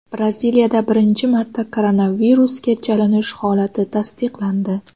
Braziliyada birinchi marta koronavirusga chalinish holati tasdiqlandi.